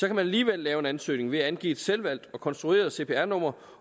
kan man alligevel lave en ansøgning ved at man angiver et selvvalgt og konstrueret cpr nummer